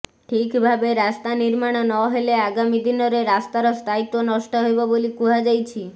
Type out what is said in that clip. ଠିକ୍ ଭାବେ ରାସ୍ତା ନିର୍ମାଣ ନହେଲେ ଆଗାମି ଦିନରେ ରାସ୍ତାର ସ୍ଥାୟିତ୍ୱ ନଷ୍ଟ ହେବ ବୋଲି କୁହାଯାଇଛି